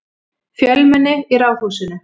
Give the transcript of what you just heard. Fjölmenni í Ráðhúsinu